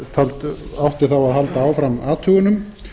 átti þá að halda áfram athugunum